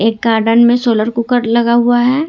एक गॉर्डन में solar cooker लगा हुआ है।